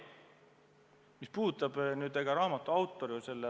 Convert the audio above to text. Mu vastus on, et ma ei tea.